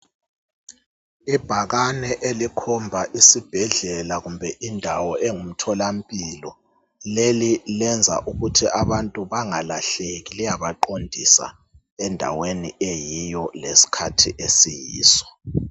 Ibhakane elikhomba isibhedlela kumbe indawo engumtholampilo leli lenza ukuthi abantu bangalahleki liyabaqondisa endaweni eyiyo leskhathi esiyiso.